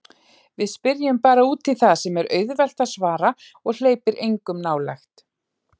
Við spyrjum bara útí það sem er auðvelt að svara og hleypir engum nálægt.